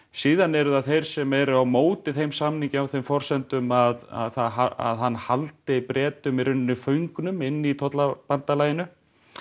síðan eru það þeir sem eru á móti þeim samningi á þeim forsendum að að hann haldi Bretum í rauninni föngnum inni í tollabandalaginu